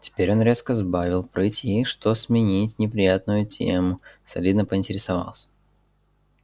теперь он резко сбавил прыть и что сменить неприятную тему солидно поинтересовался